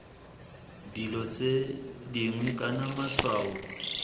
dilo tse dingwe kana matshwao